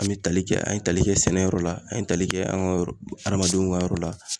An me tali kɛ an ye tali kɛ sɛnɛ yɔrɔ la an ye tali kɛ an ga yɔrɔ adamadenw ka yɔrɔ la